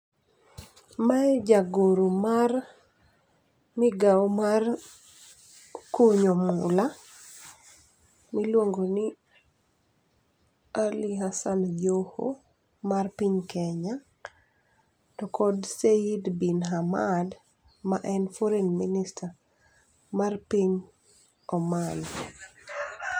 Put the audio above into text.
Mae jagoro mar migao mar kunyo mula miluongoni Ali Hassan Joho mar piny Kenya, to kod Seyid Bin Hamad maen Foreign Minister mar piny Oman.